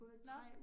Nåh